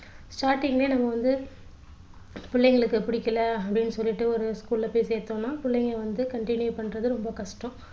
starting லயே நம்ம வந்து பிள்ளைங்களுக்கு பிடிக்கல அப்படின்னு சொல்லிட்டு ஒரு school ல போய் சேர்த்தோம்னா பிள்ளைங்க வந்து continue பண்றது ரொம்ப கஷ்டம்